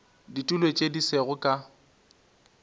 ditulo tše di sego ka